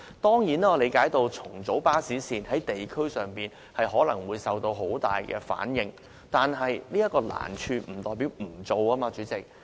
當然，我理解，如要重組巴士線，在地區上可能會遇到很大反應，但出現這種難處，並不代表不能進行，主席。